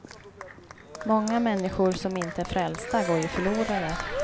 Många människor som inte är frälsta går ju förlorade.